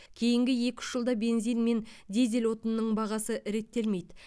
кейінгі екі үш жылда бензин мен дизель отынының бағасы реттелмейді